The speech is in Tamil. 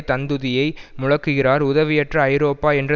தந்துதியை முழக்குகிறார் உதவியற்ற ஐரோப்பா என்ற